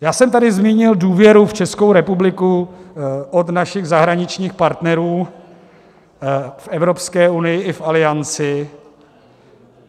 Já jsem tady zmínil důvěru v Českou republiku od našich zahraničních partnerů v Evropské unii i v Alianci.